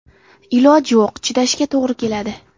Iloj yo‘q, chidashga to‘g‘ri keladi.